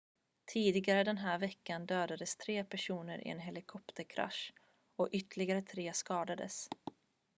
tidigare den här veckan dödades tre personer i en polishelikopterkrasch och ytterligare tre skadades